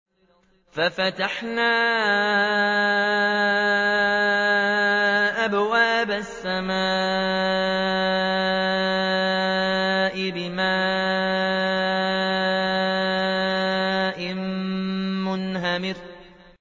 فَفَتَحْنَا أَبْوَابَ السَّمَاءِ بِمَاءٍ مُّنْهَمِرٍ